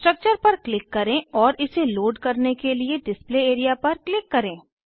structure पर click करें और इसे लोड करने के लिए डिस्प्ले एरिया पर क्लिक करें